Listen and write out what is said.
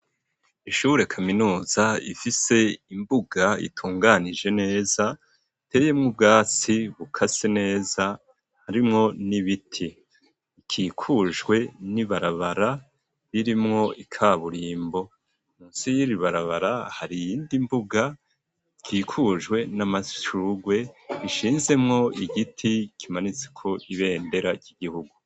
Ishure kaminuza ifise imbuga itunganije neza iteyemwo ubwatsi bukase neza harimwo n'ibiti ikikujwe n'ibarabara ririmwo ikaburimbo munsi yiri barabara hari iyindi mbuga ikikujwe n'amashurwe ishinzemwo igiti kimanitseko ibendera ry'igihugu